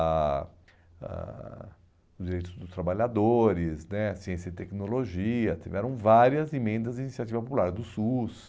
ah ah os direitos dos trabalhadores né, a ciência e tecnologia, tiveram várias emendas da iniciativa popular, do SUS.